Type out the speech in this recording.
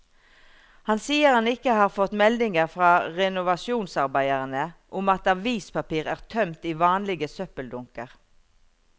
Han sier han ikke har fått meldinger fra renovasjonsarbeiderne om at avispapir er tømt i vanlige søppeldunker.